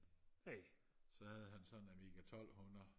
så havde han sådan en Amiga tolvhundrede